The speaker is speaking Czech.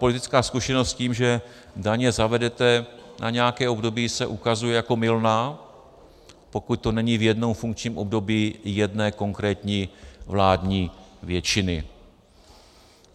Politická zkušenost s tím, že daně zavedete na nějaké období, se ukazuje jako mylná, pokud to není v jednom funkčním období jedné konkrétní vládní většiny.